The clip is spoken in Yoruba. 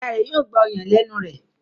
Ìyá rẹ yóò gbà ọyàn lénu rẹ.